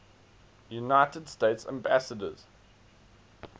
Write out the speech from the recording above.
united states ambassadors